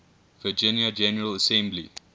virginia general assembly